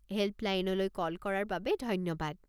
হে'ল্পলাইনলৈ call কৰাৰ বাবে ধন্যবাদ।